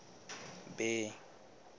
bay